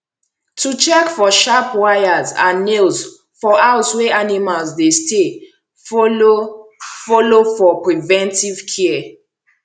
to check for sharp wires and nails for house wey animals dey stay follow follow for preventive care